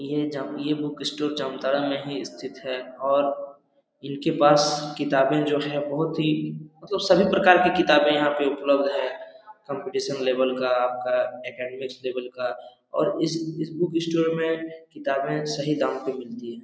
ये जम ये बुक स्टोर जामतारा मे ही सतिथ हैऔरे इन के पास कितबे जो है बहुत ही मतलब सभी प्रकार की कितबे यहा पे उपलब्ध है काम्पिटिशन लवेल का आपका अकेडमिक लवेल का और इस बुक स्टोर मे कितबे सही दम पे मिलती है।